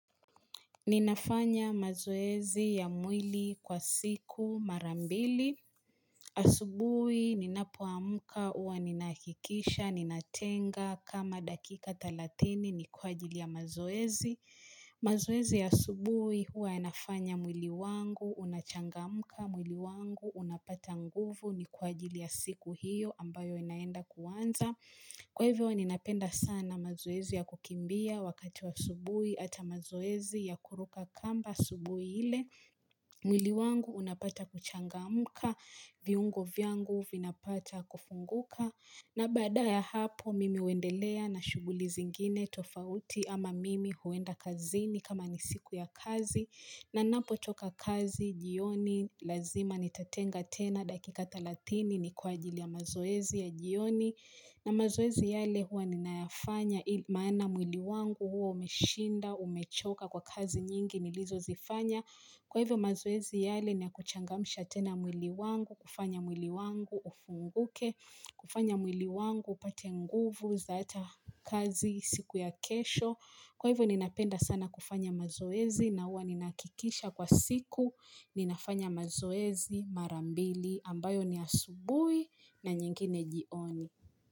Ninafanya mazoezi ya mwili kwa siku marambili. Asubui ninapoamuka huwa ninahakikisha ninatenga kama dakika talathini ni kwa ajili ya mazoezi. Mazoezi ya asubui huwa yanafanya mwili wangu, unachangamuka mwili wangu, unapata nguvu ni kwa ajili ya siku hiyo ambayo inaenda kuanza. Kwa hivyo ni napenda sana mazoezi ya kukimbia wakati wa asubui ata mazoezi ya kuruka kamba asubui ile. Mwili wangu unapata kuchangamuka, viungo viangu vinapata kufunguka. Na badaa ya hapo mimi huendelea na shuguli zingine tofauti ama mimi huenda kazini kama nisiku ya kazi. Na napo toka kazi jioni lazima nitatenga tena dakika talatini ni kwa ajili ya mazoezi ya jioni. Na mazoezi yale huwa ninayafanya maana mwili wangu huwa umeshinda, umechoka kwa kazi nyingi nilizo zifanya. Kwa hivyo mazoezi yale ni yakuchangamusha tena mwili wangu, kufanya mwili wangu ufunguke, kufanya mwili wangu upate nguvu zaata kazi siku ya kesho. Kwa hivyo ninapenda sana kufanya mazoezi na huwa ninahakikisha kwa siku ninafanya mazoezi marambili ambayo ni asubui na nyingine jioni.